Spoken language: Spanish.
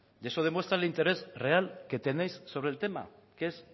y eso demuestra el interés real que tenéis sobre el tema que es